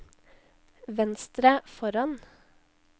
venstre foran